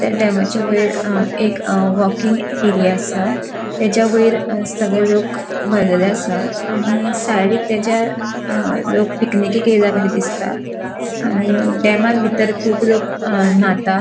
त्या डॅमाचे वैर अ एक अ वॉकिंग एरिया आसा त्याज्यावैर सगळे लोक भरलेले आसा. आनी सायडीक त्याच्या लोक पिकनीकेक येयला कशे दिसता आनी डॅमान भितर खूब लोक अ न्हाता.